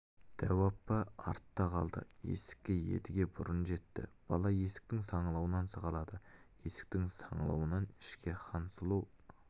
дәу апа артта қалды есікке едіге бұрын жетті бала есіктің саңылауынан сығалады есіктің саңылауынан ішке хансұлу